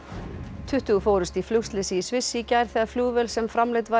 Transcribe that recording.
tuttugu fórust í flugslysi í Sviss í gær þegar flugvél sem framleidd var í